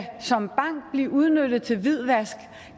blive udnyttet til hvidvask